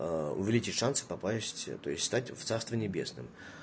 увеличить шансы попасть то есть встать в царстве небесном